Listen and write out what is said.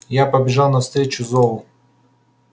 я побежал навстречу зову